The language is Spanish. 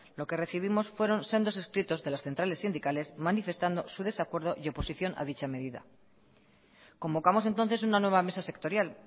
lo que recibimos fueron sendos escritos de las centrales sindicales manifestando su desacuerdo y oposición a dicha medida convocamos entonces una nueva mesa sectorial